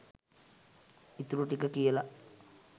ඉතුරු ටික කියලා